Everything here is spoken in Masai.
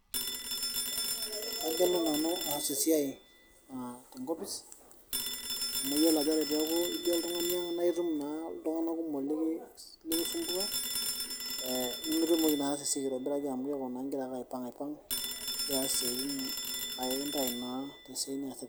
kagelu nanu aas esiai tenkopis amu iyiolo ajo ore pee eku itii oltung'ani ang naa itum iltung'anak kumok likisumbua, nimitumoki naa atasa esiai aitobiraki amu keeku igira ake aipang'ipang' igira aas isiatin naa ekintau naa tesiai niyasita.